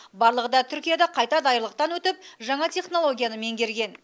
барлығы да түркияда қайта даярлықтан өтіп жаңа технологияны меңгерген